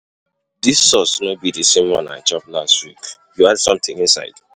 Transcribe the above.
Dis sauce um no be the same one I chop last week, You add something inside?